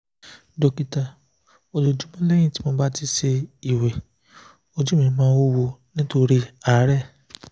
o ti wa ni ni o buru ni oru ati ni kutukutu owurọ